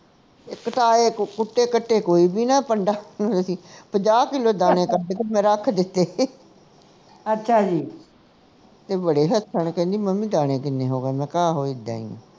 ਇਕ ਤਾਂ ਇਹ ਕੁੱਟੇ ਕਾਟੇ ਕੋਈ ਵੀ ਨਾ ਪੰਡਾ ਪੰਜਾਹ ਕਿੱਲੋ ਦਾਣੇ ਕੱਢ ਕੇ ਮੈਂ ਰੱਖ ਦਿੱਤੇ ਤੇ ਬੜੇ ਹੱਸਣ ਕਹਿੰਦੇ ਮੰਮੀ ਦਾਣੇ ਕਿੰਨੇ ਹੋ ਗਏ ਮੈਂ ਕਿਹਾ ਆਹੋ ਇੱਦਾਂ ਹੀ